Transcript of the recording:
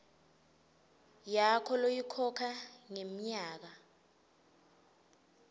yakho loyikhokha ngenyanga